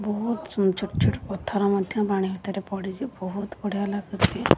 ବୋହୁତ ସୁନ୍ଦର ଛୋଟ ଛୋଟ ପଥର ମଧ୍ଯ ପାଣି ଭିତରରେ ପଡିଚି ବୋହୁତ ବଢିଆ ଲାଗଚି।